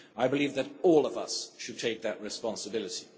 I believe that all of us should take that responsibility.